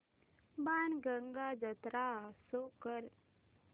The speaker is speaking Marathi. बाणगंगा जत्रा शो कर